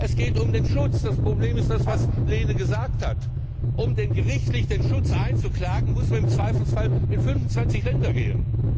Es geht um den Schutz. Das Problem ist das, was Kollege Lehne gesagt hat Um gerichtlich den Schutz einzuklagen, muss man im Zweifelsfall in 25 Länder gehen.